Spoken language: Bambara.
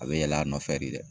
A bɛ yɛlɛ a nɔfɛ de dɛ.